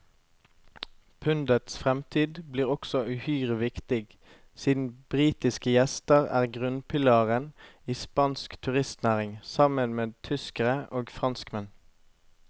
Pundets fremtid blir også uhyre viktig, siden britiske gjester er grunnpilaren i spansk turistnæring, sammen med tyskere og franskmenn.